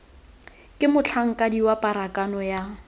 ke motlhankedi wa pharakano yo